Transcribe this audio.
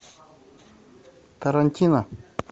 тарантино